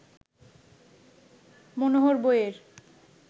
মনোহর বইয়ের